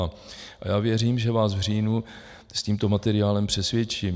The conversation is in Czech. A já věřím, že vás v říjnu s tímto materiálem přesvědčím."